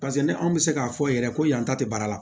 Paseke ni anw bɛ se k'a fɔ yɛrɛ ko yanta tɛ baara la